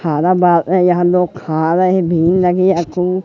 थारा बात हैं यहाँ लोग खा रहें हैं भीड़ लगी है खूब --